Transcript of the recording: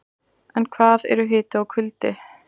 En hvað eru hiti og kuldi?